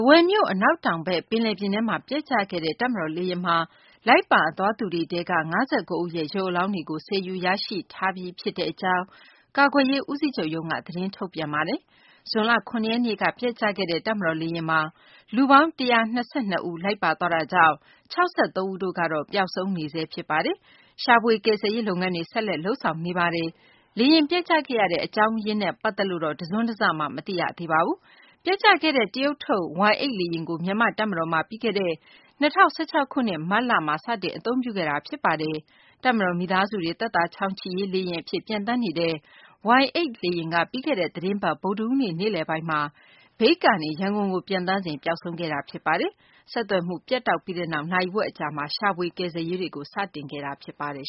ဝယ်မြို့ အနောက်တောင်ဘက် ပင်လယ်ပြင်ထဲမှာ ပျက်ကျခဲ့တဲ့ တပ်မတော် လေယာဉ်မှာ လိုက်ပါသွားသူတွေထဲက ၅၉ ဦးရဲ့ ရုပ်အလောင်းတွေကို ဆယ်ယူရရှိပြီး ဖြစ်တဲ့ အကြောင်း ကာကွယ်ရေး ဦးစီးချုပ်ရုံးက သတင်းထုတ်ပြန်ထားပါတယ်။ ဇွန်လ ၇ ရက်နေ့က ပျက်ကျခဲ့တဲ့ တပ်မတော် လေယာဉ်မှာ လူပေါင်း ၁၂၂ ဦး လိုက်ပါသွားတာကြောင့် ၆၃ ဦး ပျောက်ဆုံးနေဆဲ ဖြစ်ပါတယ်။ ရှာဖွေ ကယ်ဆယ်ရေး လုပ်ငန်းတွေ ဆက်လက် လုပ်ဆောင်နေဆဲ ဖြစ်ပါတယ်။ လေယာဉ် ပျက်ကျခဲ့ရတဲ့ အကြောင်းရင်းကိုတော့ မသိရသေးပါဘူး။ ပျက်ကျခဲ့တဲ့ တရုတ်ထုတ် Y-8 လေယာဉ်ကို မြန်မာ့ တပ်မတော်မှာ ပြီးခဲ့တဲ့ ၂၀၁၆ ခုနှစ် မတ်လမှာ စတင် အသုံးပြုခဲ့တာ ဖြစ်ပါတယ်။ တပ်မတော် မိသားစုတွေ သက်သာချောင်ချိရေး လေယာဉ် အဖြစ် ပျံသန်းနေတဲ့ Y-8 လေယာဉ်က ပြီးခဲ့တဲ့ သတင်းပတ် ဗုဒ္ဓဟူးနေ့ နေ့လည်ပိုင်းမှာ မြိတ်ကနေ ရန်ကုန်ကို ပျံသန်းစဉ် ပျောက်ဆုံးခဲ့တာ ဖြစ်ပါတယ်။ ဆက်သွယ်မှု ပြတ်တောက်ပြီးနောက် နာရီဝက် အကြာမှာ ရှာဖွေ ကယ်ဆယ်ရေးကို စတင်ခဲ့တာ ဖြစ်ပါတယ်